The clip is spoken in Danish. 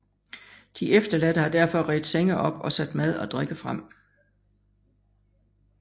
De efterladte har derfor redt senge op og sat mad og drikke frem